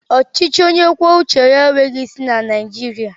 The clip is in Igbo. Ọchịchị onye kwuo uche ya enweghị isi na Naijiriia